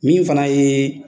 Min fana ye